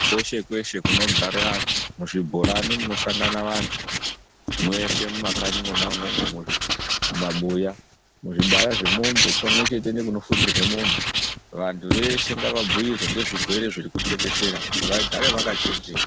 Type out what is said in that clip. Kweshe kweshe kunogare antu, muzvibhorana munosangane vantu, mweshe mumakanyi mwona umwomwo, mumabuya, muzvibaya zvemombe, pamwechete nekunofudzirwe mombe, vantu veshe ngavabhuyirwe ngezvezvirwere zvirikutekeshera kuti vagare vakachenjera.